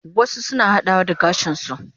Wasu suna hadawa da gashin su